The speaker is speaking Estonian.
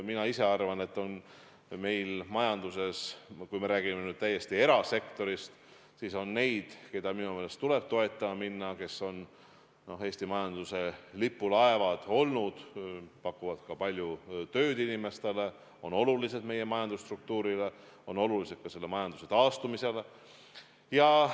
Mina ise arvan, et meil majanduses, kui me räägime nüüd täiesti erasektorist, on neid, keda minu meelest tuleb toetama minna ja kes on Eesti majanduse lipulaevad olnud, pakuvad palju tööd inimestele, on olulised meie majandusstruktuurile, on olulised ka majanduse taastumisele.